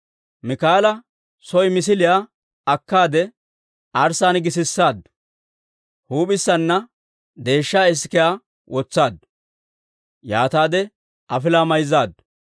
Miikaala soo misiliyaa akkaade arssaan gisisaaddu; huup'issaana deeshsha isikiyaa wotsaaddu; yaataade afilaa mayzzaaddu.